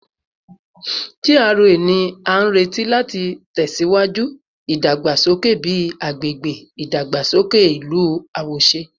GRA ni a nireti lati tẹsiwaju idagbasoke bi agbegbe idagbasoke ilu awoṣe